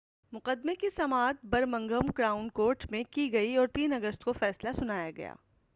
مقدمے کی سماعت برمنگھم کراؤن کورٹ میں کی گئی اور 3 اگست کو فیصلہ سنایا گیا